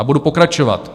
A budu pokračovat.